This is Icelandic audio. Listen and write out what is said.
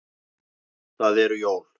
Það eru jól.